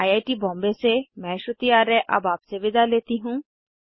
I I T Bombay से मैं श्रुति आर्य अब आपसे विदा लेती हूँ